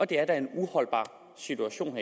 det er da en uholdbar situation